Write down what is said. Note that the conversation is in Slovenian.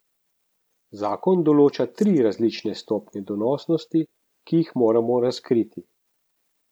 Zakon določa tri različne stopnje donosnosti, ki jih moramo razkriti.